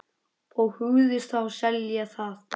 Og hugðust þá selja það.